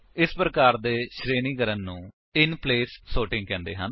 ਇਸ ਪ੍ਰਕਾਰ ਦੇ ਸ਼ਰੇਣੀਕਰਣ ਨੂੰ ਇਨਪਲੇਸ ਸੋਰਟਿੰਗ ਕਹਿੰਦੇ ਹਨ